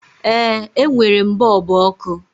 Ee, e nwèrè m bọọlbụ ọkụ